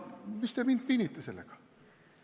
Mis te mind pinnite sellega!